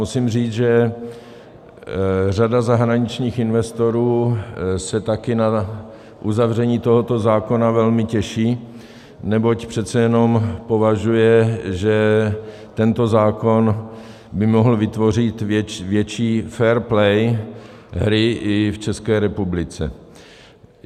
Musím říct, že řada zahraničních investorů se také na uzavření tohoto zákona velmi těší, neboť přece jenom očekává, že tento zákon by mohl vytvořit větší fair play hry i v České republice.